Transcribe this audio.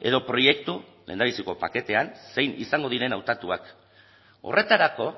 edo proiektu lehendabiziko paketean zein izango diren hautatuak horretarako